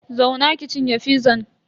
Zauna ki cinye fizan.